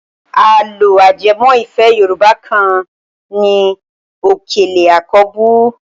Àlọ́ ajẹmọ́ ìfẹ́ Yorùbá kan ni Òkèlè àkọ́bù.